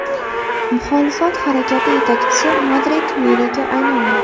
Muxolifat harakati yetakchisi Madrid meriga aylandi.